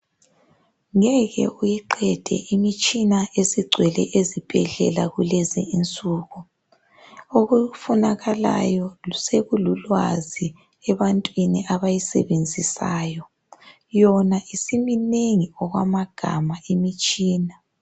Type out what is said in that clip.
Ngeke uyiqende imitshina ezingcwele ezibhedlela kulezi insuku okufunakalayo sekululwazi ebantwini abayisebenzisayo yona isiminengi okwamagama imitshina